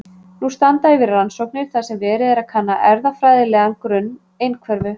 Nú standa yfir rannsóknir þar sem verið er að kanna erfðafræðilegan grunn einhverfu.